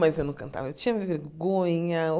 Mas eu não cantava, eu tinha vergonha.